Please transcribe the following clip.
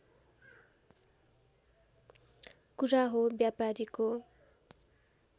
कुरा हो व्यापारीको